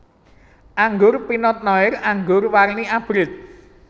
Anggur Pinot Noir anggur warni abrit